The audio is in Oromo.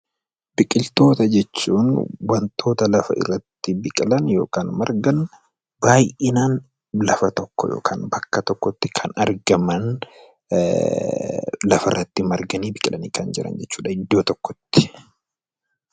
Biqiloota jechuun wantoota lafarratti biqilan baay'inaan lafa tokko bakka tokkotti kan argaman lafarratti biqilanii marganii kan argaman jechuudha iddoo tokkotti